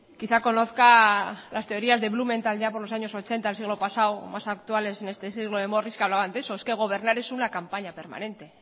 quizá conozca las teorías de blumen tal día por los años ochenta del siglo pasado más actuales en este siglo de morris que hablaban de eso es que gobernar es una campaña permanente